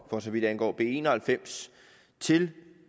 for så vidt angår b en og halvfems til